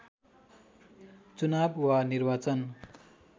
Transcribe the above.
चुनाव वा निर्वाचन